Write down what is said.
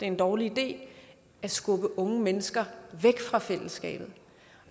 en dårlig idé at skubbe unge mennesker væk fra fællesskabet